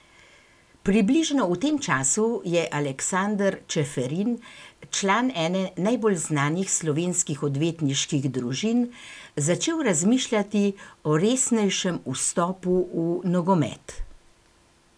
Približno v tem času je Aleksander Čeferin, član ene najbolj znanih slovenskih odvetniških družin, začel razmišljati o resnejšem vstopu v nogomet.